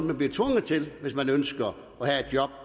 man bliver tvunget til hvis man ønsker at have job